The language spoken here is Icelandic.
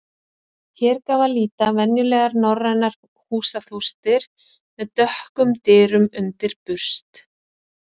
Hér gaf að líta venjulegar norrænar húsaþústir með dökkum dyrum undir burst.